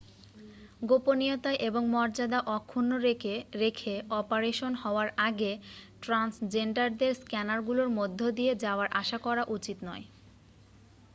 গোপনীয়তা এবং মর্যাদা অক্ষুণ্ণ রেখে অপারেশন হওয়ার আগে ট্রান্সজেন্ডারদের স্ক্যানারগুলোর মধ্য দিয়ে যাওয়ার আশা করা উচিত নয়